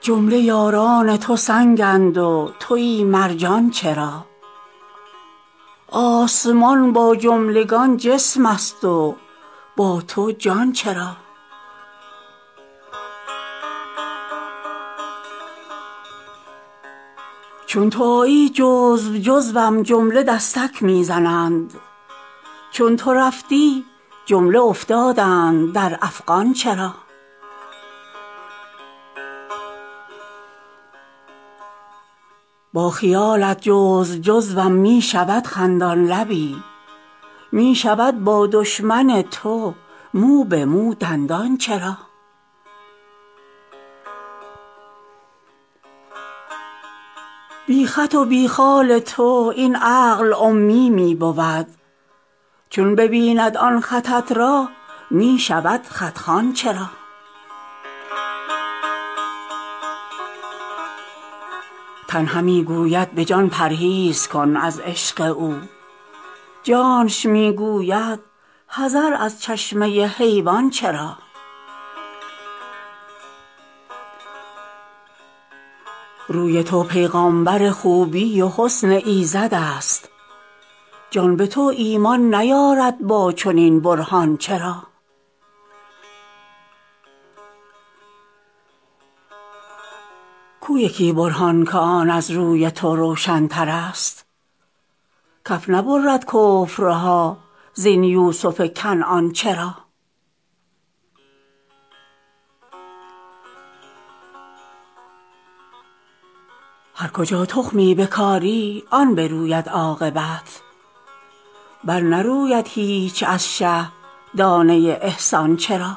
جمله یاران تو سنگند و توی مرجان چرا آسمان با جملگان جسمست و با تو جان چرا چون تو آیی جزو جزوم جمله دستک می زنند چون تو رفتی جمله افتادند در افغان چرا با خیالت جزو جزوم می شود خندان لبی می شود با دشمن تو مو به مو دندان چرا بی خط و بی خال تو این عقل امی می بود چون ببیند آن خطت را می شود خط خوان چرا تن همی گوید به جان پرهیز کن از عشق او جانش می گوید حذر از چشمه حیوان چرا روی تو پیغامبر خوبی و حسن ایزدست جان به تو ایمان نیارد با چنین برهان چرا کو یکی برهان که آن از روی تو روشنترست کف نبرد کفرها زین یوسف کنعان چرا هر کجا تخمی بکاری آن بروید عاقبت برنروید هیچ از شه دانه ی احسان چرا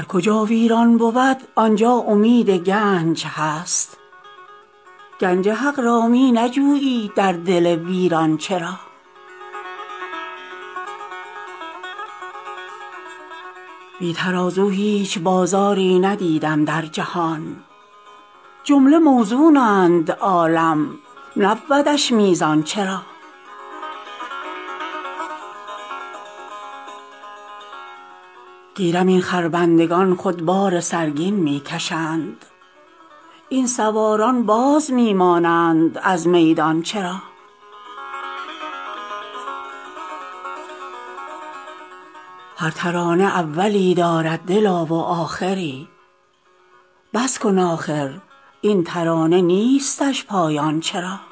هر کجا ویران بود آن جا امید گنج هست گنج حق را می نجویی در دل ویران چرا بی ترازو هیچ بازاری ندیدم در جهان جمله موزونند عالم نبودش میزان چرا گیرم این خربندگان خود بار سرگین می کشند این سواران باز می مانند از میدان چرا هر ترانه اولی دارد دلا و آخری بس کن آخر این ترانه نیستش پایان چرا